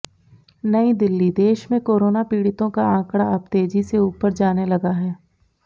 नयी दिल्लीः देश में कोरोना पीड़ितों का आंकड़ा अब तेजी से ऊपर जाने लगा है